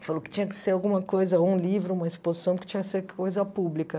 Falou que tinha que ser alguma coisa, um livro, uma exposição, que tinha que ser coisa pública.